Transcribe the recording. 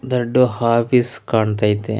ದೊಡ್ಡ ಹಫೀಸ್ ಕಾಣ್ತಾ ಐತೆ--